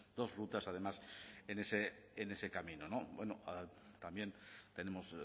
dos rutas además en ese camino también tenemos